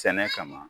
Sɛnɛ kama